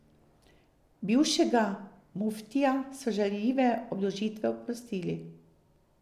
Bivšega muftija so žaljive obdolžitve oprostili.